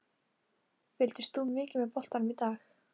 Fylgist þú mikið með boltanum í dag?